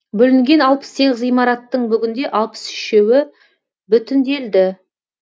бүлінген алпыс сегіз ғимараттың бүгінде алпыс үшеуі бүтінделді